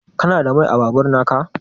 Kana da Mai a babur naka?